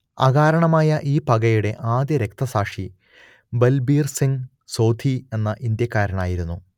അകാരണമായ ഈ പകയുടെ ആദ്യ രക്തസാക്ഷി ബൽബീർ സിംഗ് സോധി എന്ന ഇന്ത്യക്കാരനായിരുന്നു